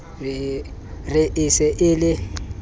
re e se e le